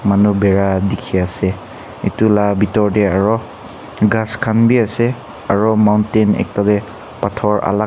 manu bera dikhi ase etu la bitor te aro ghas khan bi ase aro mountain ekta te pathor alak--